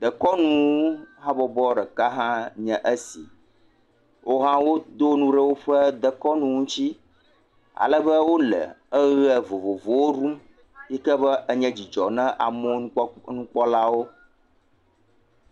Dekɔnu habɔbɔ ɖeka aɖe nye si. Woha wodo nu ɖe woƒe dekɔnu ŋuti. Alebe wole eɣe vovovowo ɖum yike be enye dzidzɔ na amewo, amewo nu kpɔlawo.